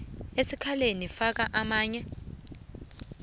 asikaneli faka amanye